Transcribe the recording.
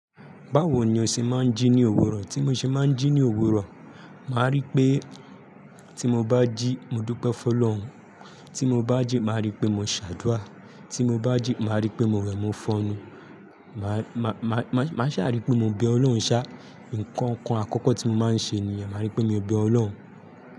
Báwo ni o ṣe máa ń jí ní òwúrọ̀? Tí mo ṣe máa ń jí ní òwúrọ̀, màá ríi pé tí mo bá jí, mo dúpẹ́ f'Ọlọ́un. Tí mo bá jí, màá ríi pé mo ṣàdúà. Tí mo bá jí, màá ríi pé mo wẹ̀, mo fọnu. Ma-ma-máa ṣáà ríi pé mo bẹ Ọlọ́run ṣá. Nǹkan kan àkọ́kọ́ tí mo máa ń ṣe nìyẹn. Màá ríi pé mo bẹ Ọlọ́run.